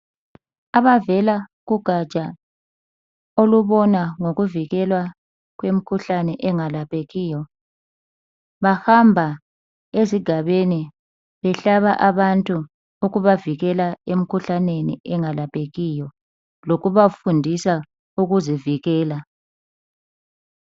abavela kugaja olubona ngokuvikela kwemkhuhlane engalaphekiyo bahamba ezigabeni behlaba abantu ukubavikela emikhuhlaneni engalaphekiyo lokubafundisa ukuzivikela.